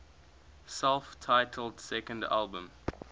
self titled second album